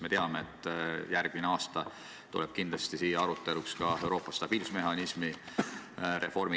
Me teame, et järgmine aasta tuleb siin kindlasti arutelule ka Euroopa stabiilsusmehhanismi reform.